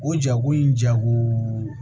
O jako in jago